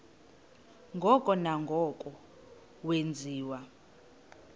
ngoko nangoko wenziwa